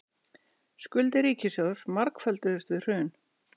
Skuldir ríkissjóðs margfölduðust við hrun